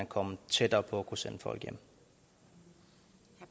komme tættere på at kunne sende folk hjem